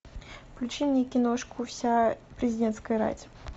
включи мне киношку вся президентская рать